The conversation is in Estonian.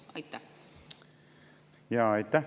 Aitäh!